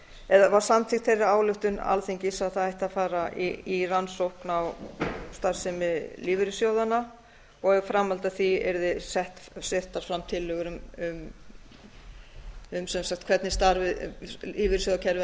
eða var samþykkt þeirri ályktun alþingis að það ætti að fara í rannsókn á starfsemi lífeyrissjóðanna og í framhaldi af því yrði settar fram tillögur um hvernig lífeyrissjóðakerfið